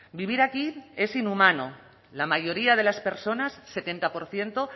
vivir aquí es inhumano la mayoría de las personas setenta por ciento